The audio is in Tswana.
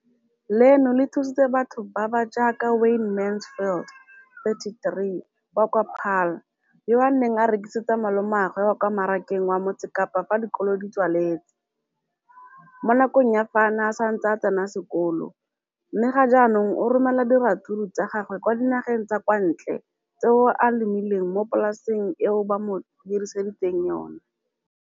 Leno le thusitse batho ba ba jaaka Wayne Mansfield, 33, wa kwa Paarl, yo a neng a rekisetsa malomagwe kwa Marakeng wa Motsekapa fa dikolo di tswaletse, mo nakong ya fa a ne a santse a tsena sekolo, mme ga jaanong o romela diratsuru tsa gagwe kwa dinageng tsa kwa ntle tseo a di lemileng mo polaseng eo ba mo hiriseditseng yona.